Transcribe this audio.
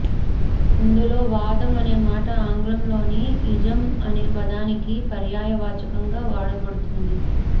ఇందులో వాదం అనే మాట ఆంగ్లంలోని ఇజం అనే పదానికి పర్యాయ వాచకంగా వాడబడింది